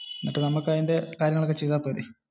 നമുക്കു അതിന്റെ കാര്യങ്ങളൊക്കെ ചെയ്താൽ പോരെ?